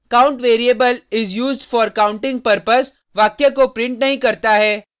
यह count variable is used for counting purpose वाक्य को प्रिंट नहीं करता है